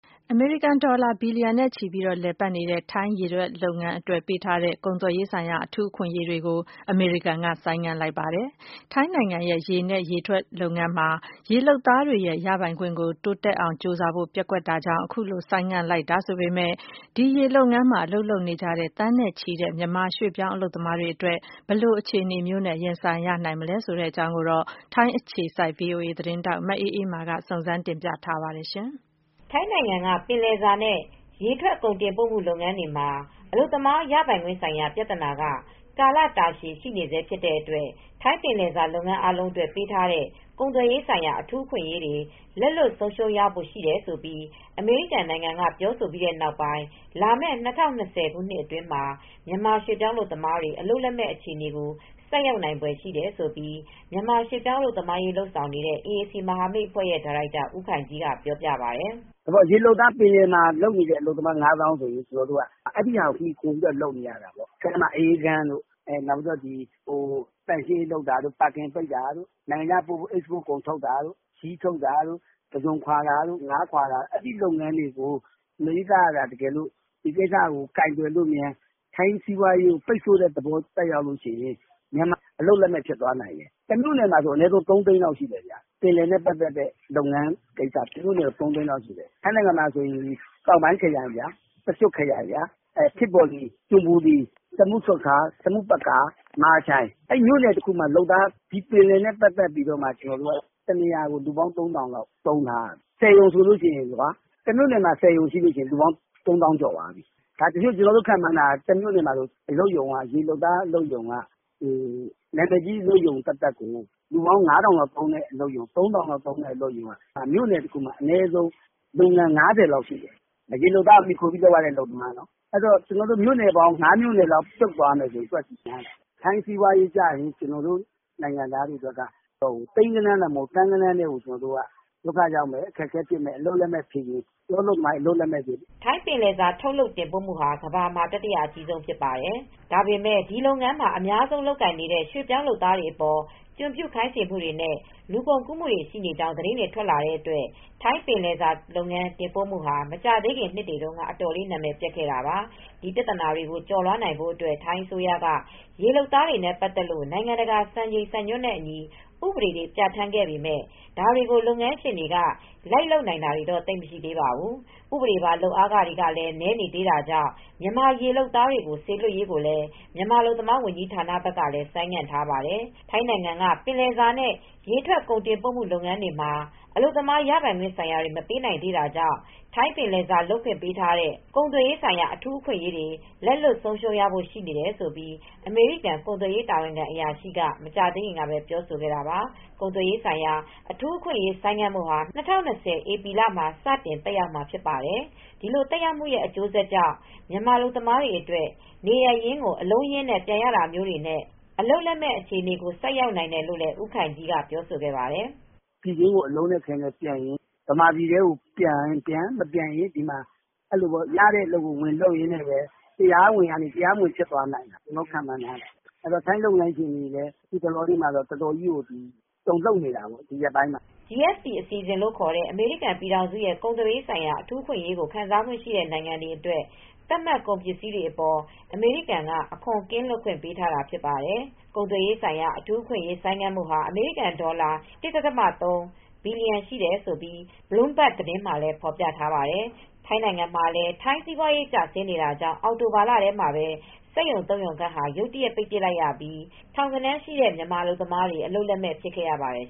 အမေရိကန်ဒေါ်လာ ဘီလီယံနဲ့ချီပြီး လည်ပတ်နေတဲ့ ထိုင်းရေထွက်လုပ်ငန်းအတွက် ပေးထားတဲ့ ကုန်သွယ်ရေးဆိုင်ရာ အထူးအခွင့်အရေးတွေကို အမေရိကန်က ဆိုင်းငံ့လိုက်ပါတယ်။ ထိုင်းနိုင်ငံရဲ့ ရေနဲ့ ရေထွက်လုပ်ငန်းမှာ ရေလုပ်သားတွေရဲ့ ရပိုင်ခွင့် တိုးတက်အောင် ကြိုးစားဖို့ ပျက်ကွက်ခဲ့တာကြောင့် အခုလို ဆိုင်းငံ့လိုက်တာ ဆိုပေမယ့် ဒီ ရေလုပ်ငန်းမှာ အလုပ်လုပ်နေကြတဲ့ သန်းနဲ့ချီတဲ့ မြန်မာရွှေ့ပြောင်း အလုပ်သမားတွေအတွက် ဘယ်လိုအခြေအနေမျိုးနဲ့ ရင်ဆိုင်ရနိုင်မလဲဆိုတာ ထိုင်းအခြေစိုက် ဗွီအိုအေမြန်မာပိုင်း သတင်းထောက် မအေးအေးမာက တင်ပြပေးထားပါတယ်။ ထိုင်းနိုင်ငံက ပင်လယ်စာနဲ့ ရေထွက်ကုန်တင်ပို့မှု လုပ်ငန်းတွေမှာ အလုပ်သမား ရပိုင်ခွင့်ဆိုင်ရာ ပြဿနာက ကာလတာရှည် ရှိနေဆဲဖြစ်တဲ့အတွက် ထိုင်းပင်လယ်စာလုပ်ငန်း အားလုံးအတွက် ပေးထားတဲ့ ကုန်သွယ်ရေးဆိုင်ရာ အထူးအခွင့်အရေးတွေ လက်လွှတ်ဆုံးရှုံးရဖို့ ရှိတယ်လို့ အမေရိကန်နိုင်ငံက ပြောဆိုပြီးနောက်ပိုင်းမှာ လာမယ့် ၂၀၂၀ ခုနှစ်မှာ မြန်မာရွှေ့ပြောင်းအလုပ်သမားတွေ အလုပ်လက်မဲ့ အခြေအနေကို ဆိုက်ရောက်နိုင်ဖွယ်ရှိတယ်လို့ မြန်မာရွှေ့ပြောင်း အလုပ်သမားအရေး လုပ်ဆောင်နေတဲ့ အေအေစီ မဟာမိတ်အဖွဲ့ရဲ့ ဒါရိုက်တာ ဦးခိုင်ကြီးက ပြောပြပါတယ်။ “ရေလုပ်သား ပင်လယ်မှာ ၅ သောင်းဆိုရင် အဲဒါကိုမှီခိုပြီး လုပ်နေရတာ အအေးခန်းတွေ၊ သန့်ရှင်းရေးလုပ်သားတွေ၊ ပါကင်ထုပ်တာ၊ နိုင်ငံခြားကို အိတ်စ်ပို့လုပ်တဲ့နေရာမှာ ပစ္စည်းထုပ်ပိုးတာတို့ ပုစွန်ခွာတာတို့ ငါးလေးလှီးဖြတ်တဲ့ နေရာမှာတို့ လုပ်နေတာ။ အဲဒီလုပ်ငန်းတွေကို အမေရိကန်က ပိတ်ဆို့တဲ့ သဘောသက်ရောက်မှု ဖြစ်သွားရင် အလုပ်လက်မဲ့ ဖြစ်သွားနိုင်တယ်။ တမြို့နယ်မှာ အလုပ်သမား ၃ သိန်းလောက်ရှိတယ်။ ပင်လယ်နဲ့ပတ်သက်လို့ လုပ်တာ ထိုင်းနိုင်ငံမှာ ပကျွတ်ခရိုင် ဖစ်ဘူရီ၊ ချွန်ဘူရီ၊ စမွတ်ပကာ၊ ဆာမွန်ပရာကန်၊ မဟာချိုင် အဲဒီနေရာတွေမှာဆိုရင် အလုပ်ရုံတရုံဆိုရင် လူပေါင်း ၃ ထောင်လောက် သုံးထားရတာ။ ၁၀ ရုံရှိရင် လူပေါင်း ၃ သောင်းကျော်သွားပြီ။ ကျနော်တို့ခန့်မှန်းတာ တမြို့နယ်မှာဆိုရင် နာမည်ကြီးရုံတွေဆို လူပေါင်း ၅ ထောင်ထိသုံးတဲ့ အလုပ်ရုံ ၃ ထောင်လောက်သုံးတဲ့ အလုပ်ရုံတွေက အလုပ်ရုံပေါင်း ၅၀ လောက်ရှိတယ်။ ရေလုပ်သားကို မှီခိုပြီးလုပ်နေတဲ့ အလုပ်ရုံတွေနော်။ မြို့နယ်ပေါင်း ၅ မြို့နယ်လောက် ပြုတ်သွားရင် ကျနော်တို့ အလုပ်သမားတွေ သိန်းဂဏန်းတောင်မဟုတ်ဘူး၊ သန်းဂဏန်းလောက်ကို အလုပ်လက်မဲ့ဖြစ်သွားမယ်။” ထိုင်းပင်လယ်စာ ထုတ်လုပ်တင်ပို့မှုဟာ ကမ္ဘာမှာ တတိယအကြီးဆုံး ဖြစ်ပါတယ်။ ဒါပေမယ့် ဒီလုပ်ငန်းမှာ အများဆုံးလုပ်ကိုင်နေတဲ့ ရွှေ့ပြောင်းလုပ်သားတွေအပေါ် ကျွန်ပြုခိုင်းစေမှုတွေနဲ့ လူကုန်ကူးမှုတွေ ရှိနေကြောင်း သတင်းတွေ ထွက်လာတဲ့အတွက် ထိုင်းပင်လယ်စာလုပ်ငန်း တင်ပို့မှုဟာ မကြာသေးခင် နှစ်တွေတုန်းက အတော်လေး နာမည်ပျက်ခဲ့တာပါ။ ဒီပြဿနာတွေကို ကျော်လွှားနိုင်ဖို့အတွက် ထိုင်းအစိုးရက ရေလုပ်သားတွေနဲ့ ပတ်သက်လို့ နိုင်ငံတကာ စံချိန်စံညွှန်းနဲ့အညီ ဥပဒေတွေ ပြဋ္ဌာန်းခဲ့ပေမယ့် ဒါတွေကို လုပ်ငန်းရှင်တွေက လိုက်လုပ်နိုင်တာတွေ သိပ်မရှိသေးပါဘူး။ ဥပဒေပါ လုပ်အားခတွေက နည်းနေသေးတာကြောင့် မြန်မာရေလုပ်သားတွေကို စေလွှတ်ရေးကိုလည်း မြန်မာအလုပ်သမားဝန်ကြီးဌာနဘက်ကလည်း ဆိုင်းငံ့ထားပါတယ်။ ထိုင်းနိုင်ငံက ပင်လယ်စာနဲ့ ရေထွက်ကုန်တင်ပို့မှု လုပ်ငန်းတွေမှာ အလုပ်သမား ရပိုင်ခွင့်ဆိုင်ရာတွေက မပေးနိုင်သေးတာကြောင့် ထိုင်းပင်လယ်စာလုပ်ခွင့် ပေးထားတဲ့ ကုန်သွယ်ရေးဆိုင်ရာ အထူးအခွင့်အရေးတွေ လက်လွှတ်ဆုံးရှုံးရဖို့ ရှိတယ်လို့ အမေရိကန် ကုန်သွယ်ရေး တာဝန်ခံအရာရှိက မကြာသေးခင်ကပဲ ပြောကြားခဲ့တာပါ။ ကုန်သွယ်ရေးဆိုင်ရာ အထူးအခွင့်အရေး ဆိုင်းငံ့မှုဟာ ၂၀၂၀ ဧပြီလမှာ စတင် သက်ရောက်မှာ ဖြစ်ပါတယ်။ ဒီလိုသက်ရောက်မှုရဲ့ အကျိုးဆက်ကြောင့် မြန်မာအလုပ်သမားတွေအတွက် နေရပ်ကို အလုံးအရင်းနဲ့ ပြန်ရတာမျိုးတွေနဲ့ အလုပ်လက်မဲ့ဖြစ်မယ့် အခြေအနေကို ဆိုက်ရောက်နိုင်တယ်လို့လည်း ဦးခိုင်ကြီးက ပြောဆိုပါတယ်။ “ပြည်တွင်းကို အလုံးအခဲနဲ့ပြန်ရင်ပြန်၊ မပြန်ဘဲ ရတဲ့အလုပ် ဝင်လုပ်ရင်တော့ တရားဝင်ကနေ တရားမဝင်တွေလည်းဖြစ်မယ်၊ ထိုင်းလုပ်ငန်းရှင်တွေလည်း ဒီရက်ပိုင်းတွေမှာ အတော်ကြီး တုန်လှုပ်မှုတွေဖြစ်နေတယ်။” GSP အစီအစဉ်လို့ခေါ်တဲ့ အမေရိကန်ပြည်ထောင်စုရဲ့ ကုန်သွယ်ရေးဆိုင်ရာ အထူးအခွင့်အရေးကို ခံစားခွင့်ရှိတဲ့ နိုင်ငံတွေအတွက် သတ်မှတ်ကုန်ပစ္စည်းတွေအပေါ် အမေရိကန်က အခွန်ကင်းလွတ်ခွင့် ပေးထားတာဖြစ်ပါတယ်။ ကုန်သွယ်ရေးဆိုင်ရာ အထူးအခွင့်အရေး ဆိုင်းငံ့မှုဟာ အမေရိကန်ဒေါ်လာ ၁.၃ ဘီလီယံ တန်တယ်လို့ Bloomberg သတင်းမှာ ဖော်ပြထားပါတယ်။ ထိုင်းနိုင်ငံမှာလည်း ထိုင်းစီးပွားရေး ကျဆင်းနေတာကြောင့် အောက်တိုဘာလထဲမှာပဲ စက်ရုံ ၃ ရုံခန့်ဟာ ရုတ်တရက် ပိတ်ပစ်လိုက်ရပြီး ထောင်ဂဏန်းရှိတဲ့ မြန်မာအလုပ်သမားတွေ အလုပ်လက်မဲ့ ဖြစ်ခဲ့ရပါတယ်